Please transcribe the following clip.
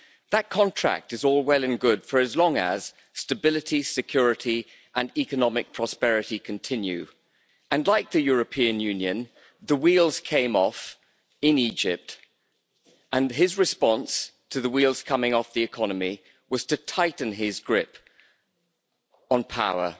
That contract is all well and good for as long as stability, security and economic prosperity continue, and like the European Union, the wheels came off in Egypt, and his response to the wheels coming off the economy was to tighten his grip on power,